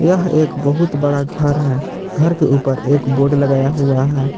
यह एक बहुत बड़ा घर है घर के ऊपर एक बोर्ड लगाया हुआ है